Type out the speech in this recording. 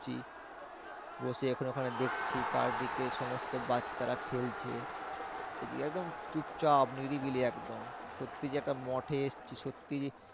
বসে এখানে ওখানে দেখছি চারিদিকে সমস্ত বাচ্চারা খেলছে। একদম চুপচাপ নিরিবিলি একদম। সত্যি যে একটা মঠে এসেছি সত্যি